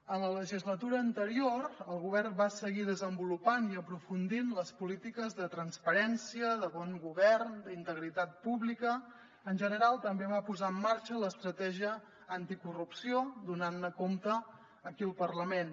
en la legislatura anterior el govern va seguir desenvolupant i aprofundint les polítiques de transparència de bon govern d’integritat pública en general també va posar en marxa l’estratègia anticorrupció donant ne compte aquí al parlament